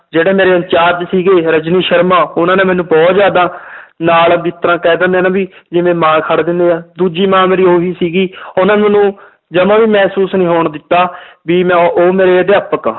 ਜਿਹੜੇ ਮੇਰੇ incharge ਸੀਗੇ ਰਜਨੀ ਸਰਮਾ ਉਹਨਾਂ ਨੇ ਮੈਨੂੰ ਬਹੁਤ ਜ਼ਿਆਦਾ ਨਾਲ ਜਿਸ ਤਰ੍ਹਾਂ ਕਹਿ ਦਿਨੇ ਆਂ ਨਾ ਵੀ ਜਿਵੇਂ ਮਾਂ ਖੜ ਜਾਂਦੇ ਆ, ਦੂਜੀ ਮਾਂ ਮੇਰੀ ਉਹੀ ਸੀਗੀ ਉਹਨਾਂ ਨੇ ਮੈਨੂੰ ਜਮਾ ਵੀ ਮਹਿਸੂਸ ਨੀ ਹੋਣ ਦਿੱਤਾ ਵੀ ਮੈਂ ਉਹ ਮੇਰੇ ਅਧਿਆਪਕ ਆ,